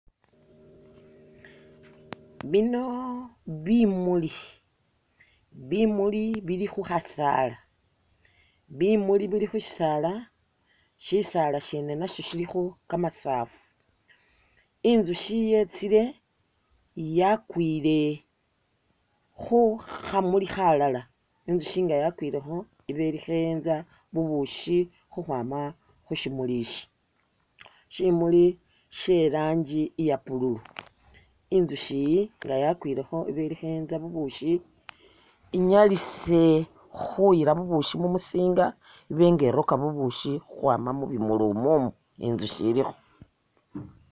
Bino bimuli, bimuli bili khukhasaala bimuli bili khushisaala, shisaala shene nasho shilikho kamasafu, intsushi yetsile yakwile khu khamuli khalala intsushi nga yakwilekho iba ili kheenza bubushi khukhwama khushimuli ishi shimuli sheranji iya' pululu intsushiyi nga yakwilekho iba kheenza bubukhi inyalise khuyila bubushi mumushinga ibenga iroka bubushi khukhwama mubimuli umwomwo intsushi ilikho